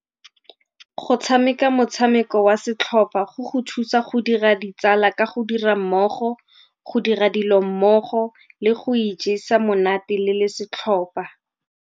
Go tshameka motshameko wa setlhopha go go thusa go dira ditsala ka go dira mmogo, go dira dilo mmogo le go ijesa monate le le setlhopha.